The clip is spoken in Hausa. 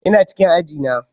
Ina cikin aji na.